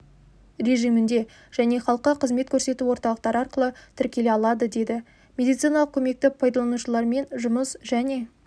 режимінде және халыққа қызмет көрсету орталықтары арқылы тіркеле алады деді медициналық көмекті пайдаланушылармен жұмыс және